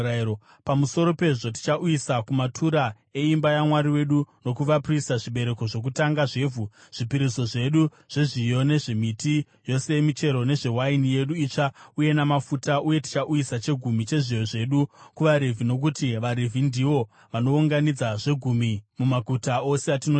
“Pamusoro pezvo, tichauyisa kumatura eimba yaMwari wedu, nokuvaprista, zvibereko zvokutanga zvevhu, zvipiriso zvedu zvezviyo, nezvemiti yose yemichero nezvewaini yedu itsva uye namafuta. Uye tichauyisa chegumi chezviyo zvedu kuvaRevhi, nokuti vaRevhi ndivo vanounganidza zvegumi mumaguta ose atinoshanda.